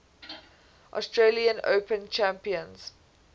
australian open champions